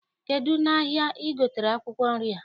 Kedụ n'ahịa I gotere akwụkwọ nri a?